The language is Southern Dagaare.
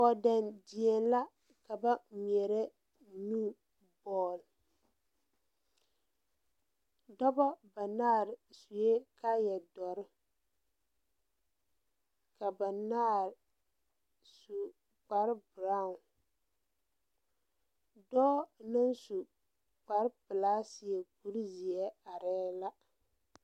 Kɔɔdɛn die la ka ba ngmeɛrɛ nu bɔɔl dɔbɔ banaare suee kaayɛ doɔre ka banaare su kpare braawn dɔɔ naŋ su kparepelaa seɛ kurizeɛ arɛɛ la.